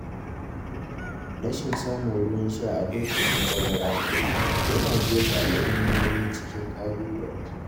Rashin samun ruwan sha a lokacin bazara yana jefa al’ummomi cikin ƙalubale.